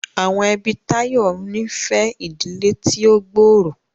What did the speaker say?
Awọn ẹbi Tayo ní fẹ ìdílé tí o gbooro.